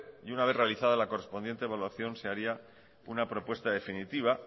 y una vez realizada la correspondiente evaluación se haría una propuesta definitiva